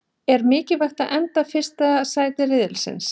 Er mikilvægt að enda fyrsta sæti riðilsins?